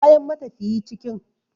Kayan matafiyi cikin